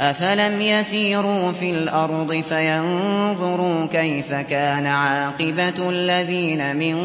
أَفَلَمْ يَسِيرُوا فِي الْأَرْضِ فَيَنظُرُوا كَيْفَ كَانَ عَاقِبَةُ الَّذِينَ مِن